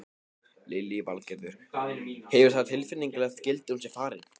Lillý Valgerður: Hefur það tilfinningalegt gildi að hún sé farin?